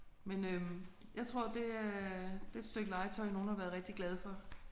Men øh jeg tror det er det er et stykke legetøj nogen har været rigtig glade for